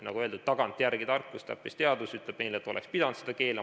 Nagu öeldud, tagantjärele tarkus ehk täppisteadus ütleb meile, et oleks pidanud seda keelama.